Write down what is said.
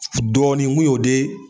Dɔɔnin n kun y'o de